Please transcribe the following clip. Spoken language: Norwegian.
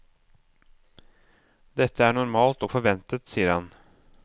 Dette er normalt og forventet, sier han.